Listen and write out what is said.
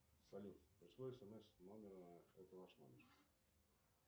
салют пришло смс с номером это ваш номер